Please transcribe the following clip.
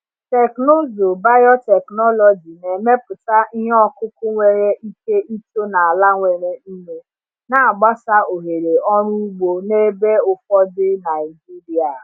Teknụzụ biotechnology na-emepụta ihe ọkụkụ nwere ike ito n’ala nwere nnu, na-agbasa ohere ọrụ ugbo n’ebe ụfọdụ Naijiria.